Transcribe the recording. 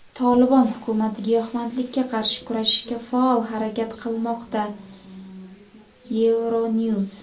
"Tolibon" hukumati giyohvandlikka qarshi kurashishga faol harakat qilmoqda – "Euronews".